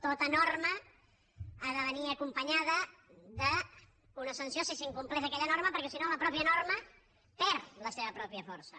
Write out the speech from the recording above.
tota norma ha de venir acompanyada d’una sanció si s’incompleix aquella norma perquè si no la mateixa norma perd la seva pròpia força